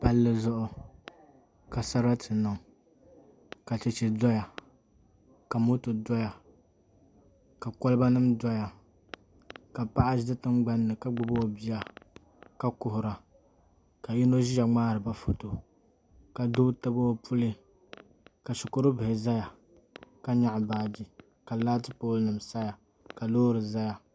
Palli zuɣu ka sarati niŋ ka chɛchɛ doya ka moto doya ka kolba nim doya ka paɣa ʒi tingbanni ka gbubi o bia ka kuhura ka yino ʒiya ŋmaariba foto ka doo tabi o puli ka shikuru bihi ʒɛya ka nyaɣa baaji ka laati pool nim saya ka loori ʒɛya